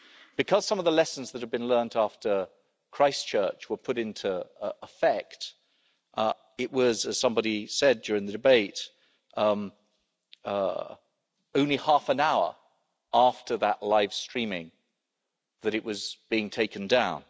Because some of the lessons that have been learnt after Christchurch were put into effect, it was, as somebody said during the debate, only half an hour after that live streaming that it was being taken down.